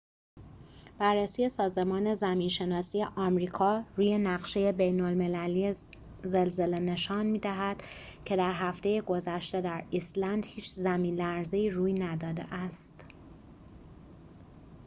بررسی سازمان زمین‌شناسی آمریکا روی نقشه بین‌المللی زلزله نشان می‌دهد که در هفته گذشته در ایسلند هیچ زمین‌لرزه‌ای روی نداده است